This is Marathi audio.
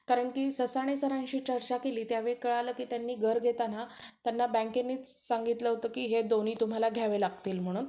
कारण ससाणे सरांशी चर्चा केली तेंव्हा कळाल, की त्यांनी घर घेताना, त्यांना बँकेनेच सांगितलं होतं की हे दोन्ही तुम्हाला घ्यावं लागतील म्हणून.